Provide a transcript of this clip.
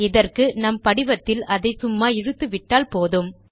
இதற்கு நம் படிவத்தில் அதை சும்மா இழுத்துவிட்டால் போதும்